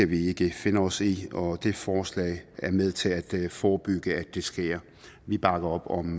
vi ikke finde os i og dette forslag er med til at forebygge at det sker vi bakker op om